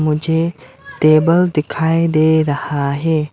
मुझे टेबल दिखाई दे रहा है।